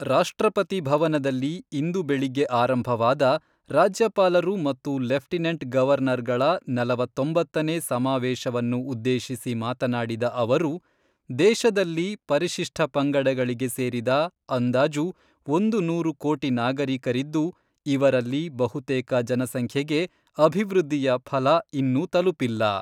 ರಾಷ್ಟ್ರಪತಿ ಭವನದಲ್ಲಿ ಇಂದು ಬೆಳಿಗ್ಗೆ ಆರಂಭವಾದ ರಾಜ್ಯಪಾಲರು ಮತ್ತು ಲೆಫ್ಟಿನೆಂಟ್ ಗವರ್ನರ್ಗಳ ನಲವತ್ತೊಂಬತ್ತನೇ ಸಮಾವೇಶವನ್ನು ಉದ್ದೇಶಿಸಿ ಮಾತನಾಡಿದ ಅವರು ದೇಶದಲ್ಲಿ ಪರಶಿಷ್ಠ ಪಂಗಡಗಳಿಗೆ ಸೇರಿದ ಅಂದಾಜು ಒಂದು ನೂರು ಕೋಟಿ ನಾಗರಿಕರಿದ್ದು, ಇವರಲ್ಲಿ ಬಹುತೇಕ ಜನಸಂಖ್ಯೆಗೆ ಅಭಿವೃದ್ಧಿಯ ಫಲ ಇನ್ನೂ ತಲುಪಿಲ್ಲ.